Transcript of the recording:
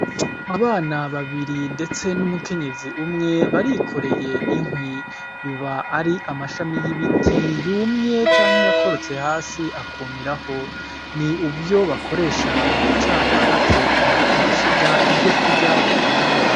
Abana babiri ndetse n’umukenyezi umwe barikoreye inkwi, biba ari amashami y’ibiti yumye canke yakorotse hasi akumiraho. Ni uburyo bakoresha mu gucana bateka ku mashiga ivyo kurya bafungura.